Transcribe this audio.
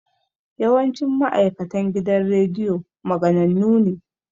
Yawancin ma'aikatan gidan rediyo maganannu ne